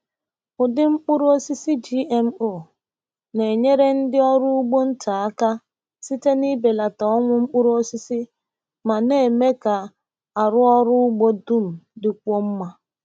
Ụdị mkpụrụ osisi GMO na-enyere ndị ọrụ ugbo nta aka site n’ịbelata ọnwụ mkpụrụ osisi ma na-eme ka arụ ọrụ ugbo dum dịkwuo mma.